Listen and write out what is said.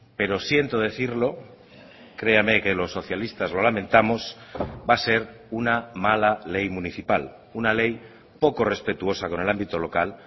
pero siento decirlo créame que los socialistas lo lamentamos va a ser una mala ley municipal una ley poco respetuosa con el ámbito local